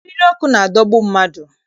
Eriri ọkụ na-adọgbu mmadụ